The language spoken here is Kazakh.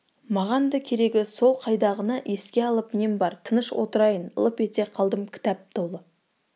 маған да керегі сол қайдағыны еске салып нем бар тыныш отырайын лып ете қалдым кітап толы